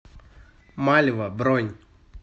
мальва бронь